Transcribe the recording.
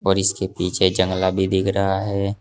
और इसके पीछे जंगला भी दिख रहा है।